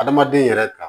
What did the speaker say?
Adamaden yɛrɛ ka